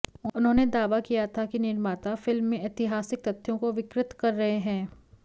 उन्होंने दावा किया था कि निमार्ता फिल्म में ऐतिहासिक तथ्यों को विकृत रहे हैं